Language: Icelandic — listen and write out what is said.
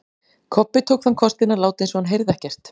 Kobbi tók þann kostinn að láta eins og hann heyrði ekkert.